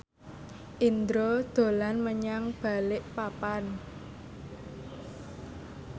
Indro dolan menyang Balikpapan